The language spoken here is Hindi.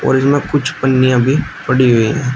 और इसमें कुछ पन्नियां भी पड़ी हुई है।